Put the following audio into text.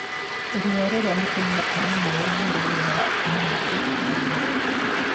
Ruo rĩrĩa mũtumia ena mweri nĩ rũgiaga atumia aingĩ wĩrainĩ.